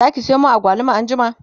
Zaki Sayo min agwaluma anjima?